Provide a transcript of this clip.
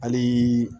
Hali